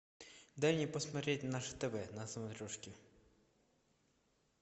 дай мне посмотреть наше тв на смотрешке